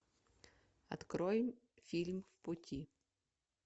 открой фильм в пути